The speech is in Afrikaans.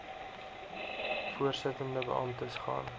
voorsittende beamptes gaan